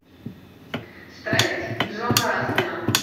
страсть джона раскина